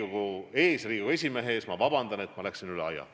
Palun vabandust Riigikogu esimehe ja kogu Riigikogu ees, et ma läksin üle aja!